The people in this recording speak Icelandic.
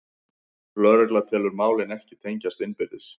Lögregla telur málin ekki tengjast innbyrðis